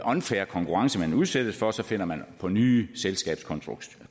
unfair konkurrence man udsættes for så finder man på nye selskabskonstruktioner